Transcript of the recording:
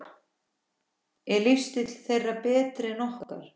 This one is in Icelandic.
Er lífstíll þeirra betri en okkar?